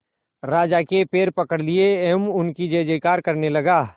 राजा के पैर पकड़ लिए एवं उनकी जय जयकार करने लगा